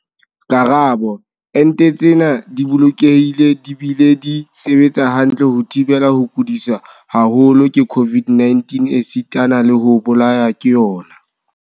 Karabo- Ente tsena di bolokehile di bile di sebetsa hantle ho thibela ho kudiswa haholo ke COVID-19 esitana le ho bolawa ke yona.